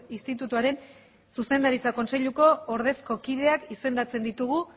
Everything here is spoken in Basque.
institutuaren zuzendaritza kontseiluko ordezko kideak izendatzen ditugu